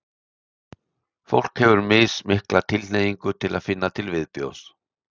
fólk hefur mismikla tilhneigingu til að finna til viðbjóðs